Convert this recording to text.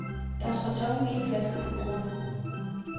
Der står tomme vinflasker på bordene.